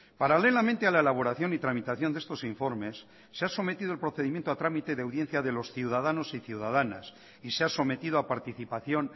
paralelamente a la elaboración y tramitación de estos informes se ha sometido el procedimiento a trámite de audiencia de los ciudadanos y ciudadanas y se ha sometido a participación